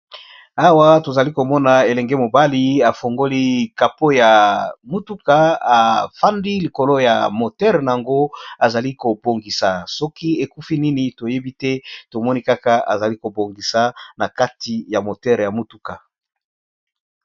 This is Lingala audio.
awa tozali komona elenge mobali afongoli kapo ya motuka afandi likolo ya motere yango azali kobongisa soki ekufi nini toyebi te tomoni kaka azali kobongisa na kati ya motere ya motuka